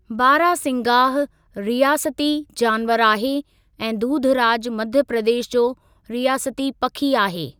बारासिंगाह रियासती जानवरु आहे ऐं दूधराज मध्य प्रदेश जो रियासती पखी आहे।